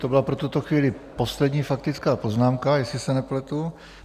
To byla pro tuto chvíli poslední faktická poznámka, jestli se nepletu?